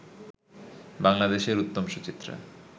বাংলাদেশের উত্তম-সুচিত্রা